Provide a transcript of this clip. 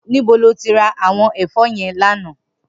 Nibó ló ti rá áwòn èfò yèn làná?